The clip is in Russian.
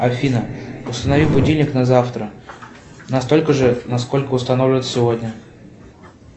афина установи будильник на завтра настолько же насколько установлен сегодня